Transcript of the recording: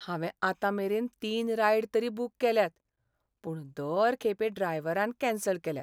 हांवें आतां मेरेन तीन रायड तरी बूक केल्यात, पूण दर खेपे ड्रायव्हरान कॅन्सल केल्यात.